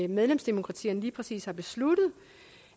medlemsdemokratierne lige præcis har besluttet